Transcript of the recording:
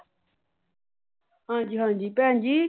ਹਾਂ ਜੀ ਹਾਂ ਭੈਣ ਜੀ।